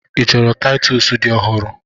Ị chọrọ Taịtọs dị ọhụrụ?